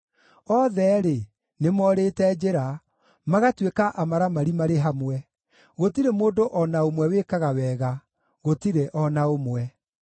Othe-rĩ, nĩmorĩte njĩra, magatuĩka amaramari marĩ hamwe; gũtirĩ mũndũ o na ũmwe wĩkaga wega, gũtirĩ o na ũmwe.